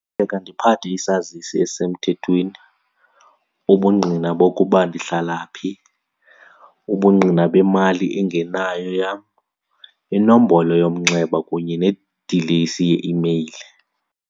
Ndiphathe isazisi esisemthethweni, ubungqina bokuba ndihlala phi, ubungqina bemali engenayo yam, inombolo yomnxeba kunye nedilesi yeimeyile.